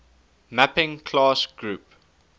mapping class group